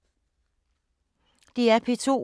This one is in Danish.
DR P2